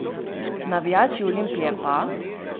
Navijači Olimpije pa ...